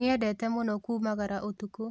Nĩendete mũno kumagara ũtukũ